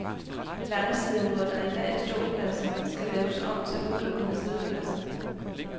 Langsiden, hvor der i dag er ståpladser, skal laves om til udelukkende siddepladser.